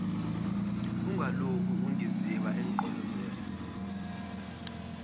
ungalokhu ungiziba emgqolozela